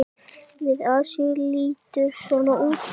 Lið Asíu lítur svona út